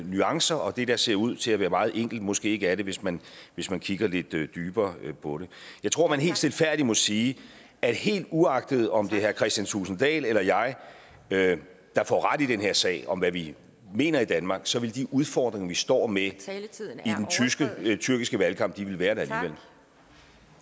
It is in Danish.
nuancer og det der ser ud til at være meget enkelt måske ikke er det hvis man hvis man kigger lidt lidt dybere på det jeg tror man helt stilfærdigt må sige at helt uagtet om herre kristian thulesen dahl eller jeg jeg får ret i den her sag altså om hvad vi mener i danmark så vil de udfordringer vi står med i den tyrkiske valgkamp være